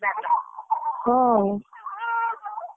ହଁ।